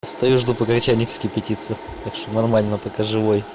стою жду пока чайник вскипятится так что нормально пока живой